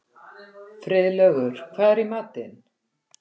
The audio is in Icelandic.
Friðlaugur, hvað er í matinn?